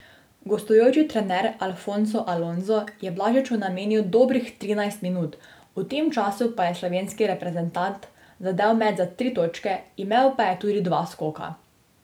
Gostujoči trener Alfonso Alonso je Blažiču namenil dobrih trinajst minut, v tem času pa je slovenski reprezentant zadel met za tri točke, imel pa je tudi dva skoka.